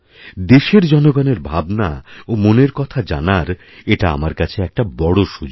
দেশের জনগণের ভাবনা ওমনের কথা জানার এটা আমার কাছে একটা বড় সুযোগ